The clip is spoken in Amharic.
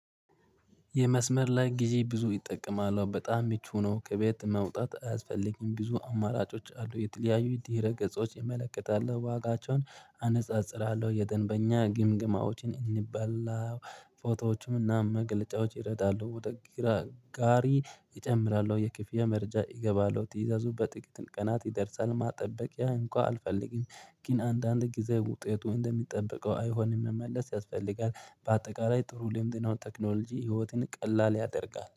የመስመር ላይ ጊዜ ብዙ ይጠቀማል በጣም ሙቹ ሆኖ ከቤት መውጣት አያስፈልግም ብዙ አማራጮች አሉ የተለያዩ ድህረገጾች እመለከታለው ዋጋቸውን አነጻጽራለው የደንበኛ ግምግማዎችን እንበላ ፎቶዎችም እና መግለጫዎች ይረዳሉ ወደ ግራ ጋሪ እጨምራው የክፍያ መረጃ እገባለው ትእዛዙ በጥቂት ቀናት ይደርሳል ማጠበቂያ እንኳን አልፈልግም። ግን አንዳንድ ጊዜ ውጤቱ እንደሚጠበቀው አይሆንም መመለስ ያስፈልጋል። በአጠቃላይ ጥሩ ልምድ ነው። ቴክኖሎጂ ህይወትን ቀላል ያደርጋል